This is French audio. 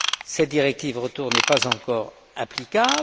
Cette directive retour n'est pas encore applicable.